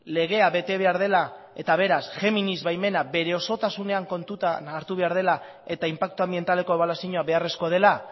legea bete behar dela eta beraz géminis baimena bere osotasunean kontutan hartu behar dela eta inpaktu anbientaleko ebaluazioa beharrezkoa dela